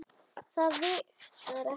Það vigtar ekki þungt.